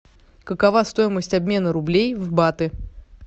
какова стоимость обмена рублей в баты